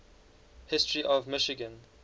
history of michigan